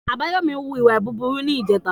Abayomi wù wà búburú ní ìje tà.